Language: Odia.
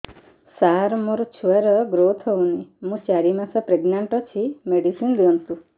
ସାର ମୋର ଛୁଆ ର ଗ୍ରୋଥ ହଉନି ମୁ ଚାରି ମାସ ପ୍ରେଗନାଂଟ ଅଛି ମେଡିସିନ ଦିଅନ୍ତୁ